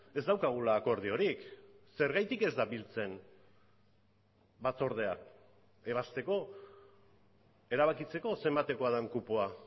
ez daukagula akordiorik zergatik ez da biltzen batzordea ebazteko erabakitzeko zenbatekoa den kupoa